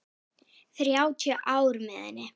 Þrjátíu ár með henni.